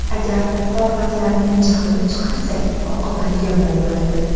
Agar xorvatlarning jahlini chiqarsak, oqibati yomon bo‘ladi.